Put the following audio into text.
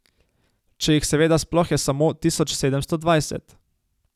Če jih seveda sploh je samo tisoč sedemsto dvajset.